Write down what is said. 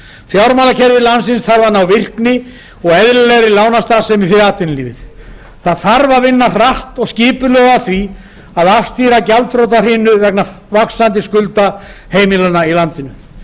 fjármálakerfi landsins þarf að ná virkni og eðlilegri lánastarfsemi fyrir atvinnulífið það þarf að vinna hratt og skipulega að því að afstýra gjaldþrotahrinu vegna vaxandi skulda heimilanna í landinu